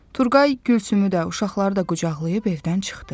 Turqay Gülsümü də, uşaqları da qucaqlayıb evdən çıxdı.